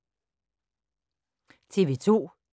TV 2